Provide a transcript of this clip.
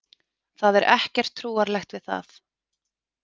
Það er ekkert trúarlegt við það.